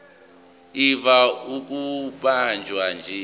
ivame ukubanjwa nje